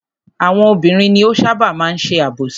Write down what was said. Àwọn obìnrin ni ó ṣábà máa ń ṣe àbòsí.